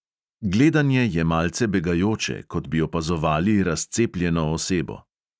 Gledanje je malce begajoče, kot bi opazovali razcepljeno osebo.